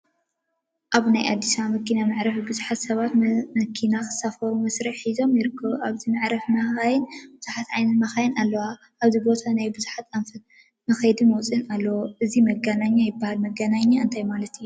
አብ ናይ አዲስ አበባ መኪና መዕረፊ ቡዙሓት ሰባት መኪና ክሳፈሩ መስርዕ ሒዞም ይርከቡ፡፡ አብዚ መዕረፊ መካይን ቡዙሓት ዓይነት መካይን አለዋ፡፡ እዚ ቦታ ናብ ብዙሕ አንፈት መክየዲን መምፅኢን አለዎ፡፡ እዚ መገናኛ ይበሃል፡፡ መገናኛ እንታይ ማለት እዩ?